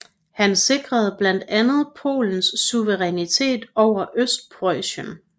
Han sikrede blandt andet Polens suverænitet over Østpreussen